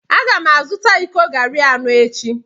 A ga m azụta iko garri anọ echi.